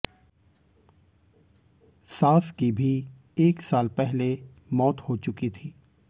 सास की भी एक साल पहले मौत हो चुकी थी